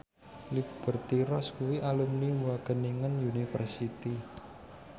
Liberty Ross kuwi alumni Wageningen University